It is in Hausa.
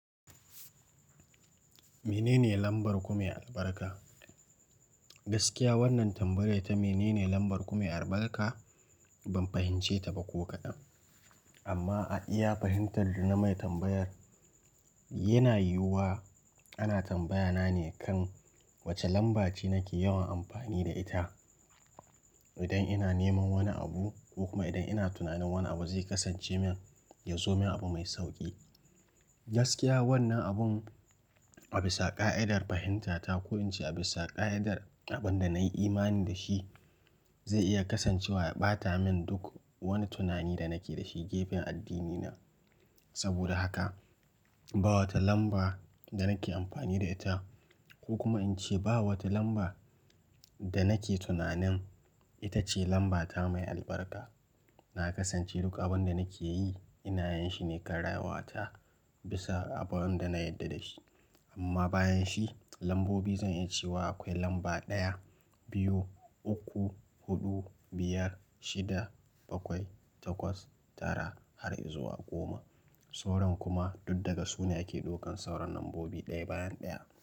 Menene lambar kumya albarka? Gaskiya wannan tambayar ta menene lambar kumya albarka ban fahimce ta ba ko kaɗan. Amma a iya fahimtar da mai tambayar yana yiwuwa ana tambaya na ne kan wace lamba ce nake yawan amfani da ita idan ina neman wani abu ko kuma idan ina tunanin wani abu zai kasance min ya zo min abu mai sauƙi. Gaskiya wannan abin a bisa ƙa'idar fahimta ta ko in ce a bisa ƙa'idar abin da na yi imani da shi ze iya kasancewa ya ɓata min duk wani tunani da nake da shi gefen addini na. Saboda haka ba wata lamba da nake amfani da ita ko kuma in ce ba wata lamba da nake tunanin ita ce lambata mai albarka. Na kasance duk abin da nake yi ina yinshi ne kan rayuwata bisa abin da na yarda da shi. Amma bayan shi lambobi zan yi cewa akwai lamba ɗaya, biyu, uku, huɗu, biyar, shida, bakwai, takwas, tara har izuwa goma. Sauran kuma duk daga sune ake ɗaukan sauran nambobi ɗaya bayan ɗaya.